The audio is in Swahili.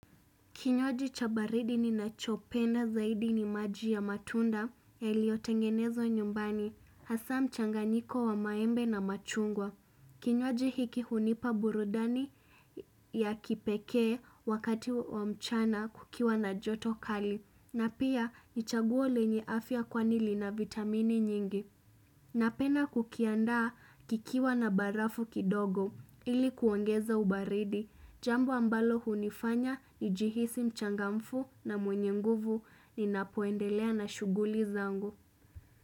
Kinywaji cha baridi ninachopenda zaidi ni maji ya matunda yaliotengenezwa nyumbani, hasa mchanganyiko wa maembe na machungwa. Kinywji hiki hunipa burudani ya kipekee wakati wa mchana kukiwa na joto kali, na pia ni chaguo lenye afya kwani lina vitamini nyingi. Napenda kukiandaa kikiwa na barafuu kidogo ili kuongeza ubaridi jambo ambalo hunifanya nijihisi mchangamfu na mwenye nguvu ninapoendelea na shughuli zangu.